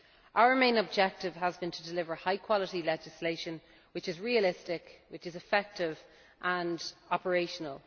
Our main objective has been to deliver high quality legislation which is realistic, effective and operational.